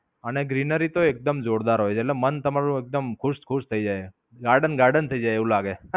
અને ગ્રીનરી તો એકદમ જોરદાર હોય છે. ને મન તમારું એકદમ ખુશ-ખુશ થઈ જાય છે. garden garden થઈ જાય એવું લાગે.